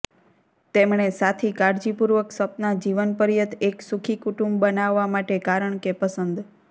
તેમણે સાથી કાળજીપૂર્વક સપના જીવનપર્યંત એક સુખી કુટુંબ બનાવવા માટે કારણ કે પસંદ